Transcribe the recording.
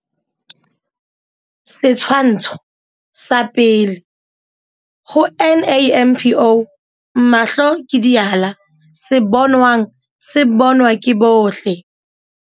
Setshwantsho sa 1. Ho NAMPO mahlo ke diala. Se bonwang se bonwa ke bohle.